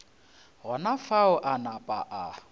gona fao a napa a